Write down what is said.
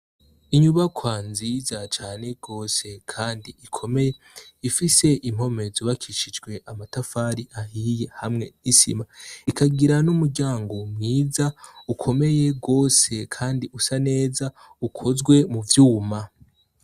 Inyubakwa nziza cane rwose, kandi ikomeye ifise impomez ubakishijwe amatafari ahiye hamwe n'isima ikagira n'umuryango wmwiza ukomeye rwose, kandi usa neza ukozwe mu vyuma.